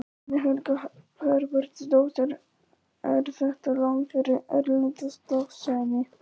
Guðný Helga Herbertsdóttir: Er þetta lán fyrir erlenda starfsemi?